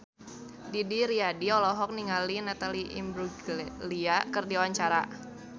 Didi Riyadi olohok ningali Natalie Imbruglia keur diwawancara